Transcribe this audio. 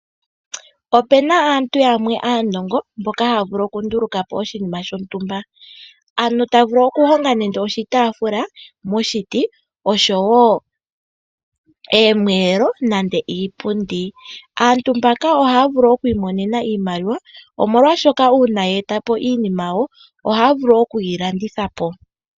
Opuna aantu yamwe aanongo mboka haya vulu okundulukapo oshinima shontumba. Ota vulu okuhonga nande oshitaafula moshiti, oshowoo oomweelo niipundi. Aantu mbaka ohaya vulu okwiimonena iimaliwa omolwaashoka uuna yeetapo iinima yawo, ohaya vulu okuyilanditha po.